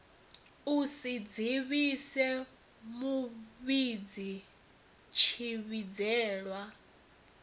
u si dzivhise muvhidzi tshivhidzelwa